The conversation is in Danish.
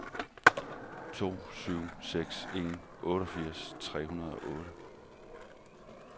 to syv seks en otteogfirs tre hundrede og otte